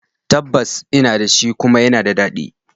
Tabbas ina da shi, kuma yana da daɗi